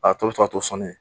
A tɔ bi ka to sɔnni ye.